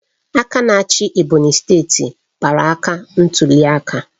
Aka na-achị Ebonyi steeti kpara aka ntuliaka